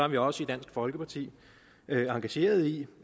vi også i dansk folkeparti engagerede i